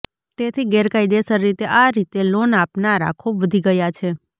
તેથી ગેરકાયદેસર રીતે આ રીતે લોન આપનારા ખૂબ વધી ગયા છે